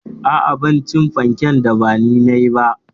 Aa, Bana cin fanken da bani nayi ba